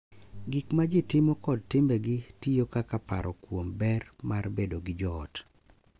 Gik ma ji timo kod timbegi tiyo kaka paro kuom ber mar bedo gi joot .